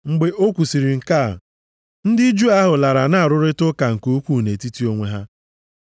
Mgbe o kwusiri nke a, ndị Juu ahụ lara na-arụrịta ụka nke ukwu nʼetiti onwe ha. + 28:29 Akwụkwọ ụfọdụ na-edebanye amaokwu a ma ụfọdụ adịghị eme nke a.